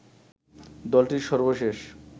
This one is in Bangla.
দলটির সর্বশেষ